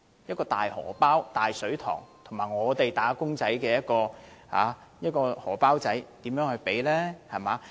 一個是"大荷包"、"大水塘"，另一個是"打工仔"的"小荷包"，根本無法比較。